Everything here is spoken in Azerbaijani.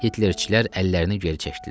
Hitlerçilər əllərini geri çəkdilər.